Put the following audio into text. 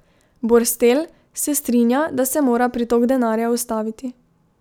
Borstel se strinja, da se mora pritok denarja ustaviti.